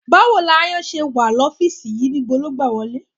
Báwo ni aáyán ṣe máa wà nínú ọ́fíìsì yìí? Ibo ló gbà wọlé?